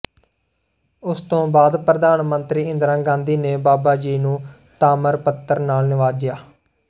ਉਸ ਤੋਂ ਬਾਅਦ ਪ੍ਰਧਾਨ ਮੰਤਰੀ ਇੰਦਰਾ ਗਾਂਧੀ ਨੇ ਬਾਬਾ ਜੀ ਨੂੰ ਤਾਮਰ ਪੱਤਰ ਨਾਲ ਨਿਵਾਜਿਆ